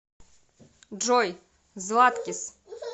джой златкис